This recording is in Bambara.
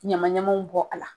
ɲamamaw bɔ a la